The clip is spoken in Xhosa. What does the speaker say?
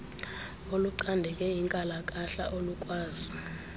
olucandeke inkalakahla alukwazi